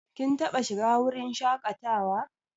Kin taɓa shiga wurin shaƙatawa?